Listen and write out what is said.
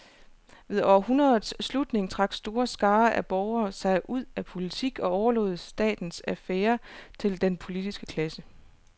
Ved århundredets slutning trak store skarer af borgere sig ud af politik og overlod statens affærer til den politiske klasse.